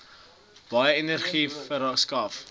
baie energie verskaf